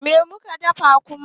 Me muke dafawa kuma?